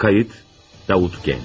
Qeyd: Davud Gənc.